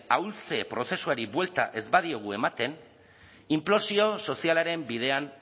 ahultze prozesuari buelta ez badiogu ematen inplosio sozialaren bidean